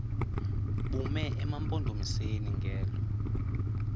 bume emampondomiseni ngelo